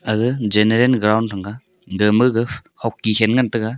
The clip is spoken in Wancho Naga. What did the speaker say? aga general ground thang ga de maga hokti khen ngan tega.